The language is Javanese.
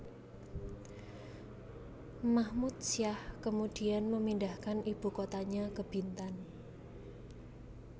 Mahmud Syah kemudian memindahkan ibu kotanya ke Bintan